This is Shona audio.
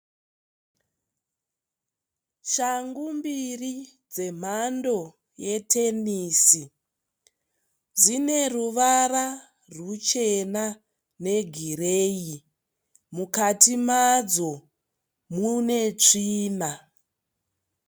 Shangu mbiri dzemhando yetenisi. Dzine ruvara ruchena negireyi. Mukati madzo mune tsvina.